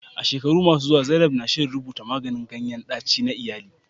A shekaru masu zuwa, zainab na shirin rubuta maganin ganyen ɗaci na iyali.